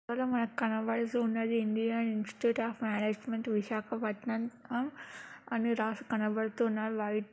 ఈ ఫోటో లో మనకి కనబడుచున్నదిఇండియా ఇన్స్టిట్యూట్ అఫ్ మేనేజ్మెంట్ విశాఖపట్నం ఆన్ అనురాగ్ కనబడుతున్న లైట్--